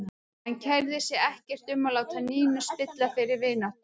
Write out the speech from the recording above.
Hann kærði sig ekkert um að láta Nínu spilla þeirri vináttu.